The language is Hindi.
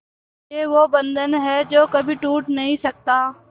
ये वो बंधन है जो कभी टूट नही सकता